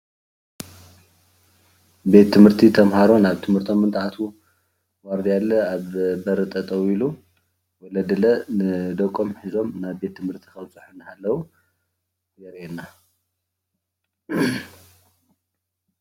ቤት ትምህርቲ ተማሃሮ ናብ ትምህርቶም እንትኣትዉ ኣብ ገለ ኣብ በሪ ጠጠው ኢሉ ንደቆም ሒዞም እንተኣትዉ ከለዉ የርእየና፡፡